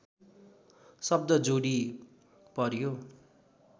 शब्द जोडी पर्‍यो